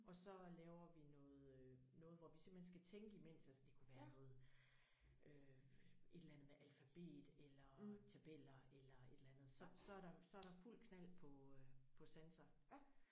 Og så laver vi noget øh noget hvor vi simpelthen skal tænke imens altså det kunne være noget øh et eller alfabet eller tabeller eller et eller andet så så der så er der fuld knald på sanser